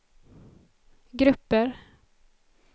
grupper